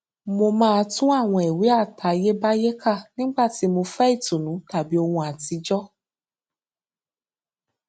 mo máa tún àwọn ìwé àtayébáyé kà nígbà tí mo fẹ ìtùnú tàbí ohun àtijọ